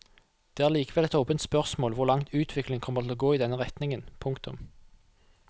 Det er likevel et åpent spørsmål hvor langt utviklingen kommer til å gå i denne retningen. punktum